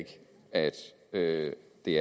det